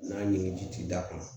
N'a ɲimi ji ti d'a kan